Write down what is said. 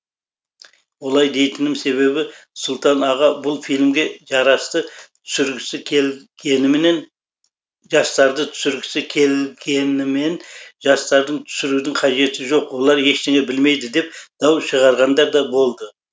олай дейтінім себебі сұлтан аға бұл фильмге жастарды түсіргісі келгенімен жастардың түсірудің қажеті жоқ олар ештеңе білмейді деп дау шығарғандар да болды